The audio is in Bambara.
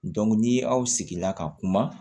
ni aw sigila ka kuma